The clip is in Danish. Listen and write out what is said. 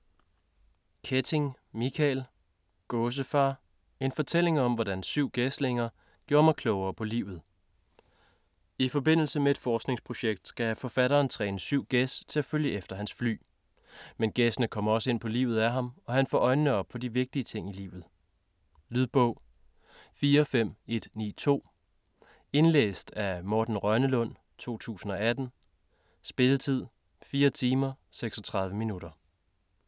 Quetting, Michael: Gåsefar: en fortælling om hvordan syv gæslinger gjorde mig klogere på livet I forbindelse med et forskningsprojekt skal forfatteren træne syv gæs til at følge efter hans fly. Men gæssene kommer også ind på livet af ham, og han får øjnene op for de vigtige ting i livet. Lydbog 45192 Indlæst af Morten Rønnelund, 2018. Spilletid: 4 timer, 36 minutter.